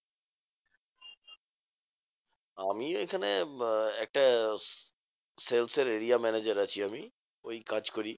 আমি এখানে বা একটা sales এর area manager আছি আমি ওই কাজ করি।